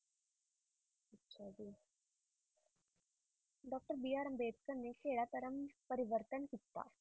Doctor B R Ambedkar ਨੇ ਕਿਹੜਾ ਧਰਮ ਪਰਿਵਰਤਨ ਕੀਤਾ